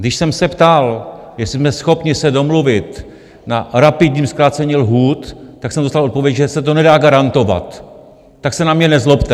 Když jsem se ptal, jestli jsme schopni se domluvit na rapidním zkrácení lhůt, tak jsem dostal odpověď, že se to nedá garantovat, tak se na mě nezlobte.